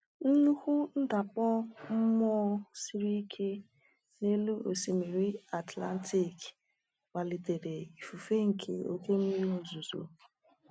Nnukwu ndakpọ mmụọ siri ike n’elu Osimiri Atlantik kpalitere ifufe nke oke mmiri ozuzo.